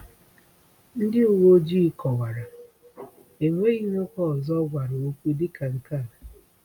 Ndị uwe ojii kọwara: “Enweghị nwoke ọzọ ọ gwara okwu dịka nke a.”